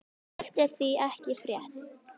Slíkt er því ekki frétt.